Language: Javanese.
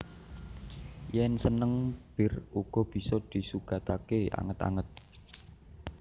Yen seneng bir uga bisa disugatake anget anget